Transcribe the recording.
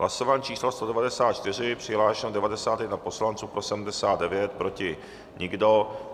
Hlasování číslo 194, přihlášeno 91 poslanců, pro 79, proti nikdo.